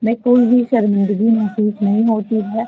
में कोई भी शर्मिंदगी महसूस नहीं होती है।